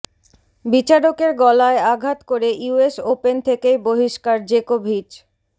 বিচারকের গলায় আঘাত করে ইউএস ওপেন থেকেই বহিষ্কার জেকোভিচ